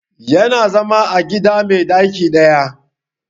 Ya na zama a gida mai ɗaki ɗaya